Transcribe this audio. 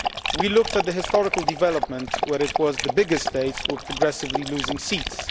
We looked at the historical development when it was the biggest states which were progressively losing seats.